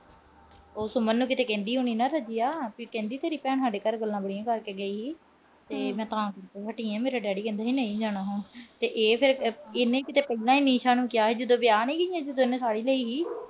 ਉਹ ਸੁਮਨ ਨੂੰ ਕਿਤੇ ਕਹਿੰਦੀ ਹੋਣੀ ਨਾ ਰਜੀਆ ਕਿ ਕਹਿੰਦੀ ਤੇਰੀ ਭੈਣ ਸਾਡੇ ਘਰੇ ਗੱਲਾਂ ਬੜੀਆਂ ਕਰਕੇ ਗਈ ਸੀ ਤੇ ਮੈਂ ਮੇਰੀ ਡੈਡੀ ਕਹਿੰਦਾ ਸੀ, ਨਹੀਂ ਜਾਣਾ ਹੁਣ। ਤੇ ਇਹ ਫਿਰ ਇਹਨੇ ਕਿਤੇ ਪਹਿਲਾਂ ਈ ਨਿਸ਼ਾ ਨੂੰ ਕਿਹਾ ਸੀ ਜਦੋਂ ਵਿਆਹ ਨੀ ਗਈ ਸੀ ਦੋਨੋਂ